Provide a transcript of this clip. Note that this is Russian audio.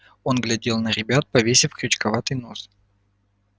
он глядел на ребят повесив крючковатый нос